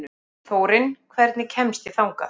Þórinn, hvernig kemst ég þangað?